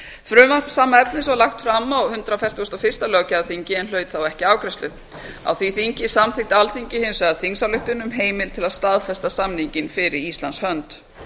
frumvarp sama efnis var lagt fram á hundrað fertugasta og fyrsta löggjafarþingi en hlaut þá ekki afgreiðslu á því þingi samþykkti alþingi hins vegar þingsályktun um heimild til að staðfesta samninginn fyrir íslands hönd